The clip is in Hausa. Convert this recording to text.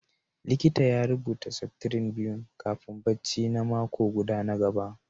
likita ya rubuta septrin biyu kafin barci na mako guda na gaba